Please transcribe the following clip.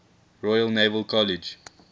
royal naval college